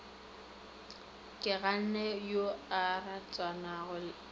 keganne yo a ratanago le